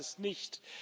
Das heißt es nicht.